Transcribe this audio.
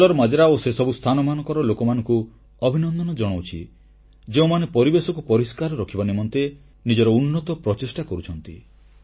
କଲ୍ଲର ମାଜରା ଓ ସେସବୁ ସ୍ଥାନମାନଙ୍କର ଲୋକମାନଙ୍କୁ ଅଭିନନ୍ଦନ ଜଣାଉଛି ଯେଉଁମାନେ ପରିବେଶକୁ ପରିଷ୍କାର ରଖିବା ନିମନ୍ତେ ନିଜର ଉନ୍ନତ ପ୍ରଚେଷ୍ଟା କରୁଛନ୍ତି